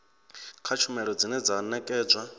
kha tshumelo dzine dza nekedzwa